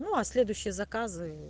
ну а следующие заказы